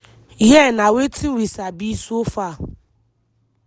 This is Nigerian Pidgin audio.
hia na wetin we sabi so far.